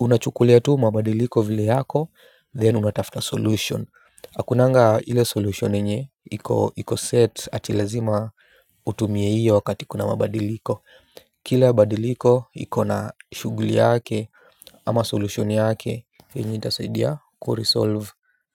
unachukulia tu mabadiliko vile yako, then unatafuta solution. Hakunanga hile solution yenye, iko set ati lazima utumie hiyo wakati kuna mabadiliko. Kile badiliko iko na shuguli yake ama solution yake. Venye itasidia kuresolve.